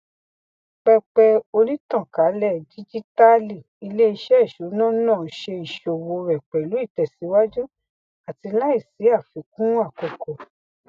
pẹpẹ onítànkálẹ díjítàálì iléiṣẹ ìṣúná náà ṣe ìṣòwò rẹ pẹlú ìtẹsíwájú àti láìsí àfikún àkókò